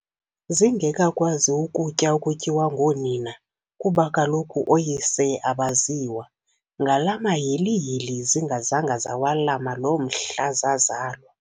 zingekakwazi ukutya okutyiwa ngoonina, kuba kaloku ooyise abaziwa, ngalaa mahilihili zingazanga zawalama loo mhla zazalwa.